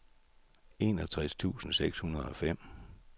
enogtres tusind seks hundrede og fem